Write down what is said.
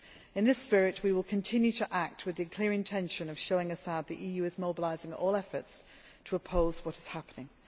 necessary. In this spirit, we will continue to act with the clear intention of showing Assad that the EU is mobilising all efforts to oppose what is